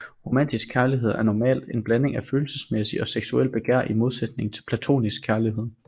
Romantisk kærlighed er normalt en blanding af følelsesmæssigt og seksuelt begær i modsætning til platonisk kærlighed